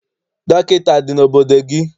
Dọkịta adị n'obodo gị?